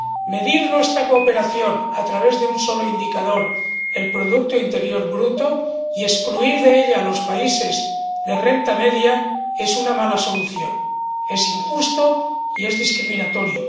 Medir nuestra cooperación a través de un solo indicador —el producto interior bruto— y excluir de ella a los países de renta media es una mala solución, es injusto y es discriminatorio.